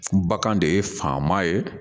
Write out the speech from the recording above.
Bagan de ye faama ye